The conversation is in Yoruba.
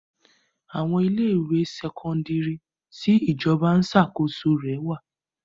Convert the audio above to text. Àwọn ilé ìwé sẹ́kọ́ńdírì tí ìjọba ń ṣàkóso rẹ̀ wà.